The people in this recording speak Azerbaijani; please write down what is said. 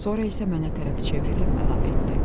Sonra isə mənə tərəf çevrilib əlavə etdi: